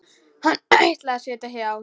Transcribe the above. Hún ætlaði að sitja hjá.